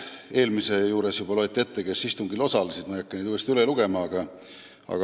Eelmise eelnõu arutelul juba loeti ette, kes istungil osalesid, ma ei hakka seda uuesti ette lugema.